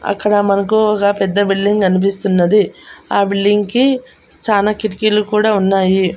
అక్కడ మనకు ఒగ పెద్ద బిల్డింగ్ గన్పిస్తున్నది ఆ బిల్డింగ్ కి చానా కిటికీలు కూడా ఉన్నాయి.